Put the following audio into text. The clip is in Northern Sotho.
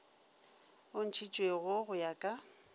o ntšhitšwego go ya ka